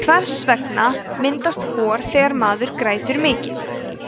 hvers vegna myndast hor þegar maður grætur mikið